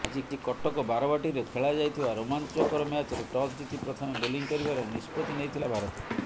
ଆଜି କଟକ ବାରବାଟୀରେ ଖେଳାଯାଇଥିବା ରୋମାଞ୍ଚକର ମ୍ୟାଚରେ ଟସ୍ ଜିତି ପ୍ରଥମେ ବୋଲିଂ କରିବାର ନିଷ୍ପତ୍ତି ନେଇଥିଲା ଭାରତ